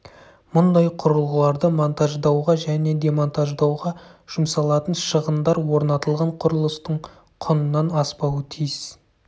мұндай құрылғыларды монтаждауға және демонтаждауға жұмсалатын шығындар орнатылған құрылыстың құнынан аспауы тиіс